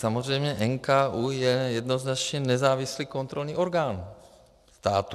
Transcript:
Samozřejmě NKÚ je jednoznačně nezávislý kontrolní orgán státu.